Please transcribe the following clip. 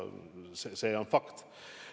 See on fakt.